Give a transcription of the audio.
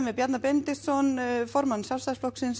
við Bjarna Benediktsson formann Sjálfstæðisflokksins